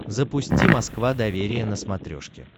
запусти москва доверие на смотрешке